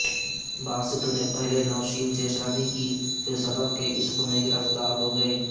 باسط نے پہلے نوشین سے شادی کی پھر صدف کے عشق میں گرفتار ہو گئے